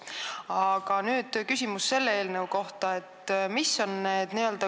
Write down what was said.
Aga nüüd küsimus selle eelnõu kohta.